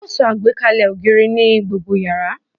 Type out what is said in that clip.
A ó so àgbékalẹ̀ ògiri ní gbogbo yàrá